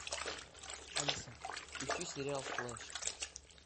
алиса включи сериал флеш